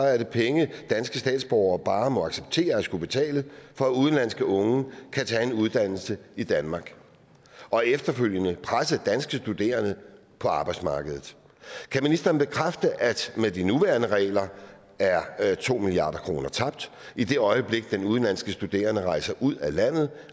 er det penge som danske statsborgere bare må acceptere at skulle betale for at udenlandske unge kan tage en uddannelse i danmark og efterfølgende presse danske studerende på arbejdsmarkedet kan ministeren bekræfte at med de nuværende regler er to milliard kroner tabt i det øjeblik de udenlandske studerende rejser ud af landet